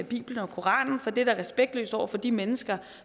bibelen og koranen for det er da respektløst over for de mennesker